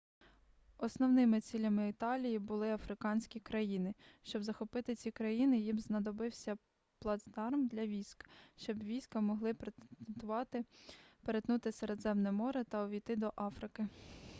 основними цілями італії були африканські країни щоб захопити ці країни їм знадобився б плацдарм для військ щоб війська могли перетнути середземне море та увійти до африки